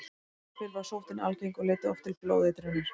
Áður fyrr var sóttin algeng og leiddi oft til blóðeitrunar.